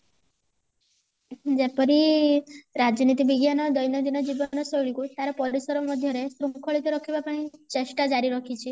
ଯେପରି ରାଜନୀତି ବିଜ୍ଞାନ ଦୈନଦିନ ଜୀବନ ଶୈଳୀ କୁ ତାର ପରିସର ମଧ୍ୟରେ ଶୃଙ୍ଖଳିତ ରଖିବା ପାଇଁ ଚେଷ୍ଟା ଜାରି ରଖିଛି